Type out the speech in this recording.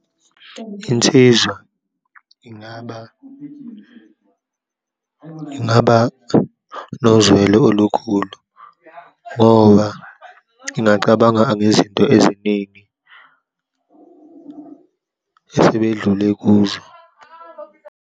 Insizwa ingaba, ingaba nozwelo olukhulu ngoba ngingacabanga angezinto eziningi esebedlule kuzo.